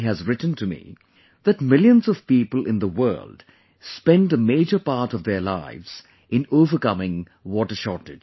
has written to me that millions of people in the world spend a major part of their lives in overcoming water shortage